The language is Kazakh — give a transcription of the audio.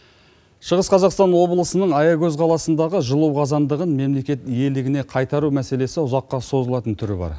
шығыс қазақстан облысының аягөз қаласындағы жылу қазандығын мемлекет иелігіне қайтару мәселесі ұзаққа созылатын түрі бар